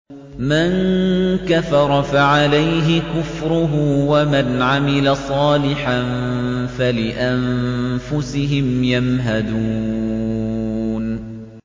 مَن كَفَرَ فَعَلَيْهِ كُفْرُهُ ۖ وَمَنْ عَمِلَ صَالِحًا فَلِأَنفُسِهِمْ يَمْهَدُونَ